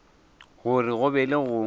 gore go be le go